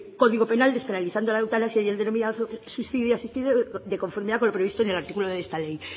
código penal despenalizando la eutanasia y el denominado suicidio asistido de conformidad con lo establecido en el artículo de esta ley